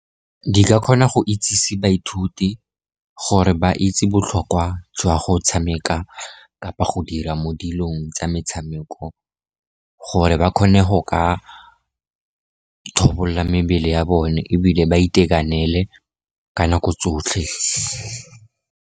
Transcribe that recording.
Di ka kgona go itsese baithuti gore ba itse botlhokwa jwa go tshameka kapa go dira mo dilong tsa metshameko, gore ba kgone go ka tlhabolola mebele ya bone ebile ba itekanele ka nako tsotlhe.